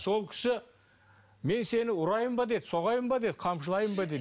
сол кісі мен сені ұрайын ба деді соғайын ба деді қамшылайын ба деді